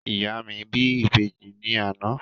Ìyá mi bí Ìbejì ní àná.